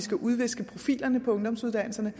skal udviske profilerne på ungdomsuddannelserne